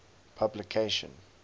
publication